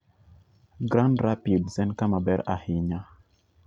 Grand Rapids en kama ber ahinya